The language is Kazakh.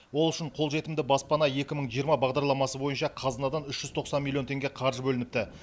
ол үшін қолжетімді баспана екі мың жиырма бағдарламасы бойынша қазынадан үш жүз тоқсан миллион теңге қаржы бөлініпті